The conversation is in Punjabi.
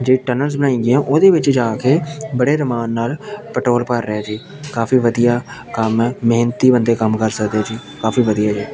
ਜੇ ਟਨਲਸ ਨਈ ਹੈਂ ਓਹਦੇ ਵਿੱਚ ਜਾਕੇ ਬੜੇ ਰੁਮਾਨ ਨਾਲ ਪੈਟ੍ਰੋਲ ਭਰ ਰਿਹਾ ਹੈ ਜੀ ਕਾਫੀ ਵਧੀਆ ਕੰਮ ਹੈ ਮੇਹਨਤੀ ਬੰਦੇ ਕੰਮ ਕਰ ਸਕਦੇ ਹੈਂ ਜੀ ਕਾਫੀ ਵਧੀਆ ਹੈ।